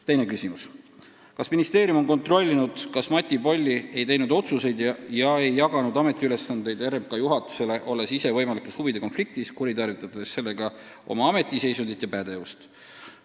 Teine küsimus: "Kas ministeerium on kontrollinud, kas Mati Polli ei teinud otsuseid ja ei jaganud ametiülesandeid RMK juhatusele, olles ise võimalikus huvide konfliktis, kuritarvitades sellega oma ametiseisundit ja -pädevust?